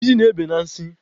Ijiji na-ebe na nsị